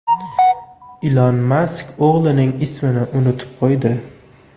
Ilon Mask o‘g‘lining ismini unutib qo‘ydi .